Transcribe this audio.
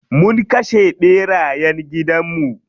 Mun kashe ɓerayen gidan mu.